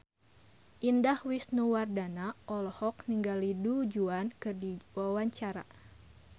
Indah Wisnuwardana olohok ningali Du Juan keur diwawancara